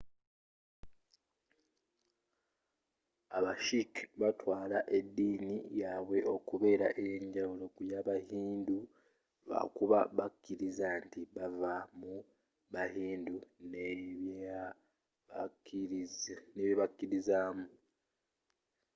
aba sikh batwaala ediina yabwe okubeera eyenjawulo ku yaba hindu lwakuba bakiriza nti baava mu bahindu n'ebyebakiririzaamu